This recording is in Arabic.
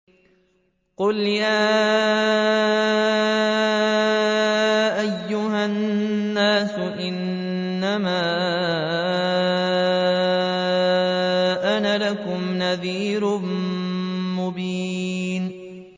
قُلْ يَا أَيُّهَا النَّاسُ إِنَّمَا أَنَا لَكُمْ نَذِيرٌ مُّبِينٌ